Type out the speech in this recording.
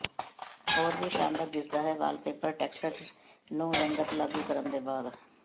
ਹੋਰ ਵੀ ਸ਼ਾਨਦਾਰ ਦਿਸਦਾ ਹੈ ਵਾਲਪੇਪਰ ਟੈਕਸਟ ਨੂੰ ਰੰਗਤ ਲਾਗੂ ਕਰਨ ਦੇ ਬਾਅਦ